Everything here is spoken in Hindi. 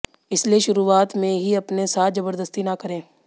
इसलिए शुरुआत में ही अपने साथ जबरदस्ती ना करें